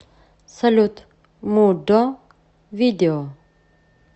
салют мо до видео